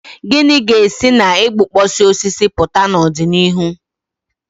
Gịnị ga-esi na igbukpọsị osisi pụta n'ọdịnihu?